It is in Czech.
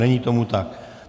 Není tomu tak.